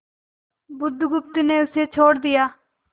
बुधगुप्त ने उसे छोड़ दिया